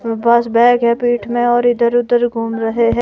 मेरे पास बैग है पीठ में और इधर उधर घूम रहे हैं।